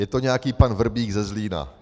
Je to nějaký pan Vrbík ze Zlína.